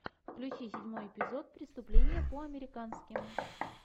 включи седьмой эпизод преступление по американски